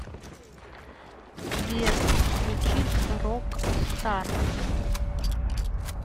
сбер включить рокстар